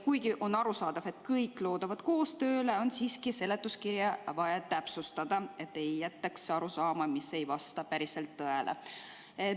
Kuigi on arusaadav, et kõik loodavad koostööle, on siiski vaja seletuskirja täpsustada, et ei jääks arusaama, mis ei vasta päriselt tõele.